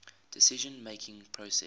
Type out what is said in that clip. decision making process